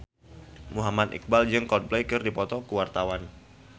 Muhammad Iqbal jeung Coldplay keur dipoto ku wartawan